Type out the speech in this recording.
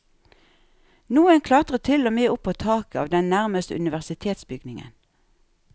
Noen klatret til og med opp på taket av den nærmeste universitetsbygningen.